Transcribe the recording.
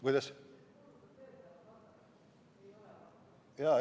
Kuidas?